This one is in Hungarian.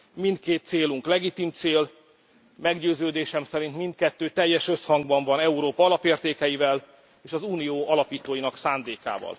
Mindkét célunk legitim cél, meggyőződésem szerint mindkettő teljes összhangban van Európa alapértékeivel és az Unió alapítóinak szándékával.